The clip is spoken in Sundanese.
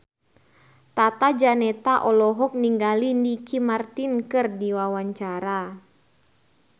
Tata Janeta olohok ningali Ricky Martin keur diwawancara